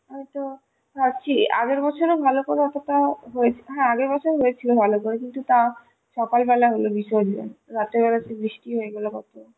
হয়ত আগের বছর ভালো করে অতটা হয়েছে, হ্যাঁ আগের বছর হয়েছিল ভালো করে কিন্তু তাও সকাল বেলা হলো বিসর্জন রাতের বেলা কি বৃষ্টি হয়ে গেল কত